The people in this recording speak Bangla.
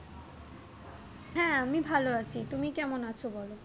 হ্যাঁ আমি ভাল আছি তুমি কেমন আছো বল।